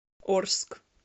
орск